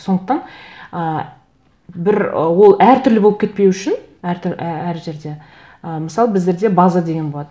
сондықтан ы бір ы ол әртүрлі болып кетпеі үшін әр жерде ы мысалы біздерде база деген болады